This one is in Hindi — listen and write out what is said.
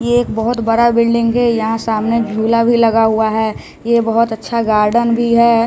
ये एक बहुत बड़ा बिल्डिंग है यहां सामने झूला भी लगा हुआ है ये बहुत अच्छा गार्डन भी है।